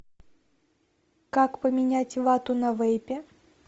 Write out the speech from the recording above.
как поменять вату на вейпе